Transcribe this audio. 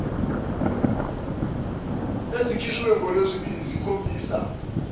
ezikhishwe ngolwesibili zikhombisa